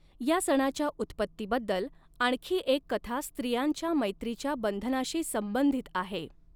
या सणाच्या उत्पत्तीबद्दल आणखी एक कथा स्त्रियांच्या मैत्रीच्या बंधनाशी संबंधित आहे.